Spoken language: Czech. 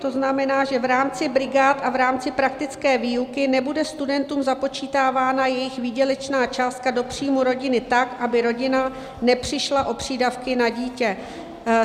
To znamená, že v rámci brigád a v rámci praktické výuky nebude studentům započítávána jejich výdělečná částka do příjmu rodiny tak, aby rodina nepřišla o přídavky na dítě.